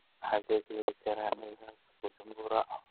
xagee ka heli karaa naivas bujumbura